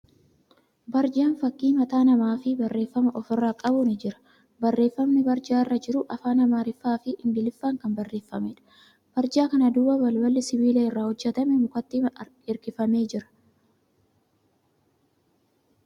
Barjaan fakkii mataa namaa fi barreeffama ofirraa qabu ni jira. Barreeffamni barjaa irra jiru afaan Amaariffaa fi Ingiliffaan kan barreeffameedha. Barjaa kana duuba balballi sibiila irraa hojjatame mukatti hirkifamee jira.